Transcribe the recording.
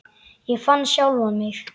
Ég fann sjálfan mig.